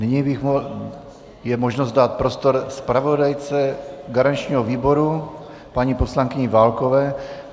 Nyní je možnost dát prostor zpravodajce garančního výboru, paní poslankyni Válkové.